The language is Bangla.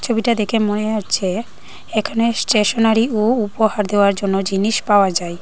ছবিটা দেখে মনে হচ্ছে এখানে স্টেশনারি ও উপহার দেওয়ার জন্য জিনিস পাওয়া যায়।